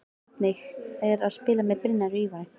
Hvernig er að spila með Brynjari og Ívari?